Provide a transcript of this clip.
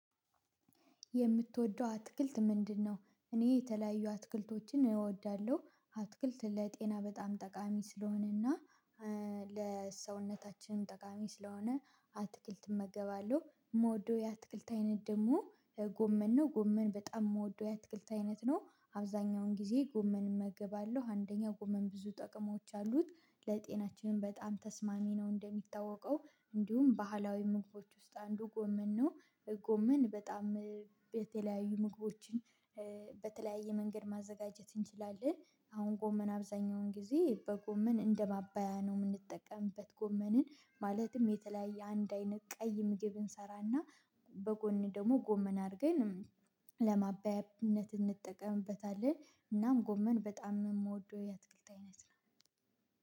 የምትወደው አትክልት ምንድነው? እኔ የተለያዩ አትክልቶችን እወዳለሁ። አትክልት ለጤና በጣም ጠቃሚ ስለሆነና ለሰውነታችን ጠቃሚ ስለሆነ አትክልት እመገባለሁ፣ የምወደው የአትክልት አይነት ደግሞ ጎመን ነው ጎመን በጣም የምወደው የአትክልት አይነት ነው አብዛኛውን ጊዜ ጎመን እመገባለሁ አንደኛ ጎመን ብዙ ጥቅሞች አሉት ለጤናችን በጣም ተስማሚ ነው እንደሚታወቀው እንዲሁም ባህላዊ ምግቦች ውስጥ አንዱ ጎመን ነው። ጎመን በጣም የተለያዩ ምግቦችን በተለያየ መንገድ ማዘጋጀት እንችላለን አሁን ጎመን አብዛኛውን ጊዜ በጎመን እንደማባያ ነው የምንጠቀምበት ጎመንን ማለትም የተለያየ አንድ አይነት ቀይ ምግብ እንሰራና በጎን ደግሞ ጎመን አድርገን ለማባያነት እንጠቀምበታለን እናም ጎመን በጣም የምወደው የአትክልት አይነት ነው።